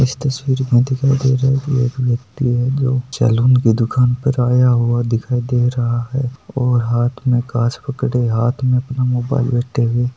इस तस्वीर में दिखाई दे रहा हेकी एक व्यक्ति हे जो सेलून की दुकान पर आया हुवा दिखाय इ रहा है और हाथ में काच पकडे हाथ में अपना मोबाइल व् टेबल --